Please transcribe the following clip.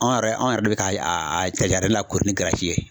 Anw yɛrɛ anw yɛrɛ bɛ ka a lakori ni ye.